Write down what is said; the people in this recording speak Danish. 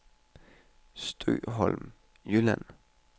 Stoholm Jylland